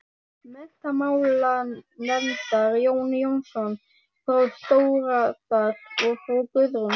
Menntamálanefndar, Jón Jónsson frá Stóradal og frú Guðrún